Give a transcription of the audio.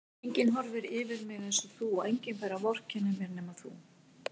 Enginn horfir yfir mig einsog þú og enginn fær að vorkenna mér nema þú.